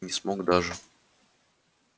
не смог даже